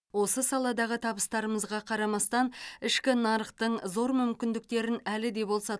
осы саладағы табыстарымызға қарамастан ішкі нарықтың зор мүмкіндіктерін әлі де болса